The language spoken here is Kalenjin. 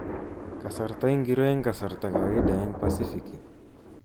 Kasarta ingiro eng kasarta kawaida eng Pasifiki